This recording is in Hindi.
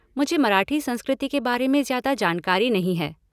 मुझे मराठी संस्कृति के बारे ज़्यादा जानकारी नहीं है।